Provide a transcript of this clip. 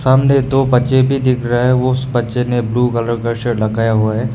सामने दो बच्चे भी दिख रहा है उस बच्चे ने ब्लू कलर का शर्ट डकाया हुआ है।